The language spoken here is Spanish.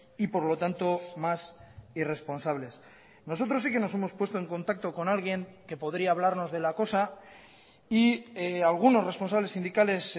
y por lo tanto más irresponsables nosotros sí que nos hemos puesto en contacto con alguien que podría hablarnos de la cosa y algunos responsables sindicales